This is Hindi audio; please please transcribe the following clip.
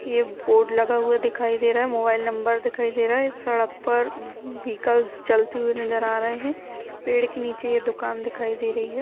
ये बोर्ड लगा हुआ दिखाई दे रहा है। मोबाइल नंबर दिखाई दे रहा है। सड़क पर विहकल चलती हुई नजर आ रहे हैं। पेड़ के नीचे ये दुकान दिखाई दे रही है।